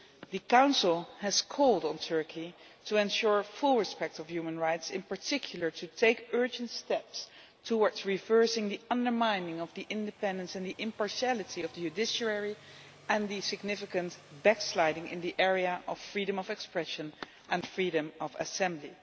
The Council has called on Turkey to ensure full respect for human rights, in particular to take urgent steps to work on reversing the undermining of the independence and the impartiality of the judiciary and the significant backsliding in the area of freedom of expression and freedom of assembly.